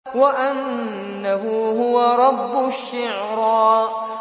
وَأَنَّهُ هُوَ رَبُّ الشِّعْرَىٰ